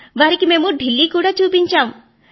వారికి మేము ఢిల్లీ కూడా చూపెట్టాము